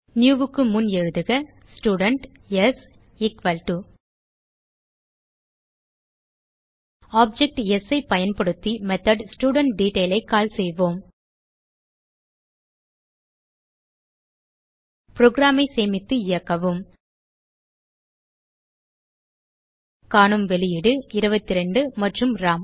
new க்கு முன் எழுதுக student s is equal to object s ஐ பயன்படுத்தி மெத்தோட் studentDetail ஐ கால் செய்வோம் புரோகிராம் ஐ சேமித்து இயக்கவும் காணும் வெளியீடு 22 மற்றும் ராம்